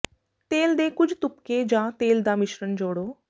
ਤੇਲ ਦੇ ਕੁਝ ਤੁਪਕੇ ਜਾਂ ਤੇਲ ਦਾ ਮਿਸ਼ਰਣ ਜੋੜੋ